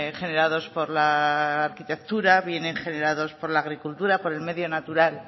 generados por la arquitectura vienen generados por la agricultura por el medio natural